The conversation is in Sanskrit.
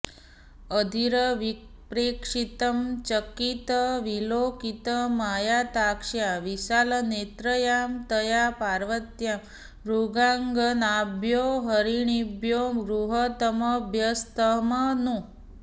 अधीरविप्रेक्षितं चकितविलोकितमायताक्ष्या विशालनेत्रया तया पार्वत्या मृगाङ्गनाभ्यो हरिणीभ्यो गृहीतमभ्यस्तं नु